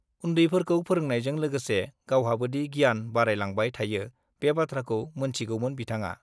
उन्दैफोरखौ फोरोंनायजों लोगोसे गावहाबोदि गियान बारायलांबाय थायो - बे बाथ्राखौ मोनथिगौमोन बिथांआ।